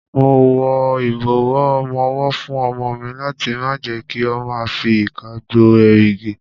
Mo wọ ìbọ̀wọ́ ọmọwọ́ fún ọmọ mi láti má jẹ kí ó ma fi ìka gbo èrìgì.